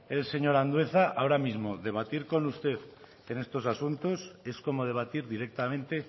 el señor andueza ahora mismo debatir con usted en estos asuntos es como debatir directamente